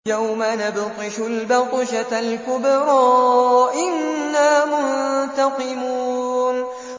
يَوْمَ نَبْطِشُ الْبَطْشَةَ الْكُبْرَىٰ إِنَّا مُنتَقِمُونَ